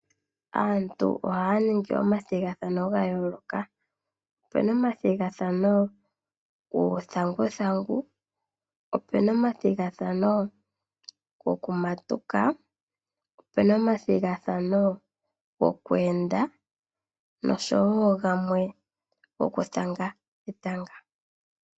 Aantu ohaya ningi omathigathano gayoloka. Ope na omathigathano guuthaguthangu. Ope na omathigathano goku matuka. Ope na omathigathano goku enda. Noshowo gamwe goku thanga etanga.